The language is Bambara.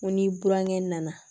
N ko ni burankɛ nana